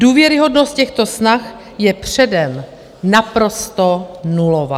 Důvěryhodnost těchto snah je předem naprosto nulová.